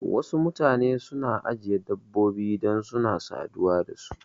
Wasu mutane suna ajiye dabbobi dan suna saduwa da su